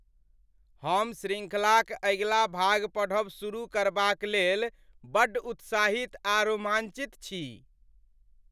हम शृंखलाक अगिला भाग पढ़ब शुरू करबाक लेल बड्ड उत्साहित आ रोमाञ्चित छी!